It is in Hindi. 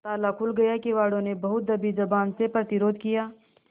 ताला खुल गया किवाड़ो ने बहुत दबी जबान से प्रतिरोध किया